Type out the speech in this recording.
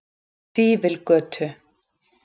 Fífilgötu